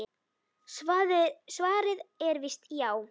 Svarið er víst já.